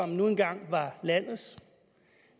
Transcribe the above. nu engang var landets